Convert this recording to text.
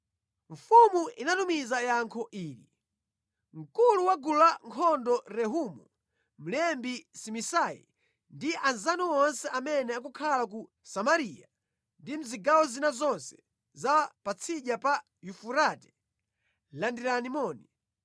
Mfumu inatumiza yankho ili: Mkulu wa gulu lankhondo Rehumu, mlembi Simisai ndi anzanu onse amene akukhala ku Samariya ndi mʼzigawo zina zonse za Patsidya pa Yufurate. Landirani moni.